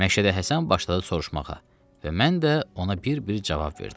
Məşədə Həsən başladı soruşmağa və mən də ona bir-bir cavab verdim.